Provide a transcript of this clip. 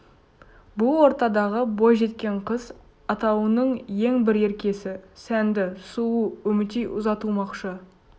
бұл ортадағы бойжеткен қыз атаулының ең бір еркесі сәнді сұлу үмітей ұзатылмақшы